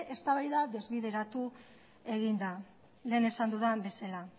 eztabaida desbideratu egin da lehen esan dudan bezala